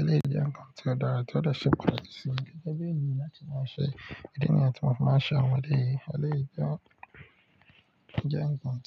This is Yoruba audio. Eleyii je nnkan ti o dara to de se pataki si mi gege bi eniyan lati maa n se. Idií niyen tí mo fi máa ń ṣe. Àwọn ọdẹ eléyìí jẹ́ ǹkan tí ó dùn,